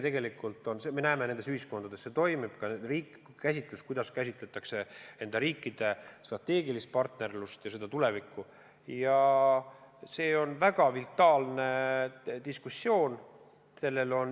Me näeme, et see koostöö nendes ühiskondades toimib, ja see, kuidas käsitletakse nende riikide strateegilist partnerlust ja selle tulevikku, on väga vitaalne diskussioon.